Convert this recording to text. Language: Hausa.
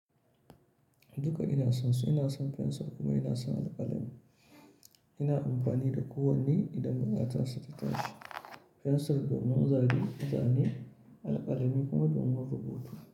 Duka ina son su. Ina son fensir kuma ina son alƙalami. Ina amfani da kowanne idan bukatar sa ta tashi. Fensir don mun zane, zane, alƙalami kuma do mun rubutu.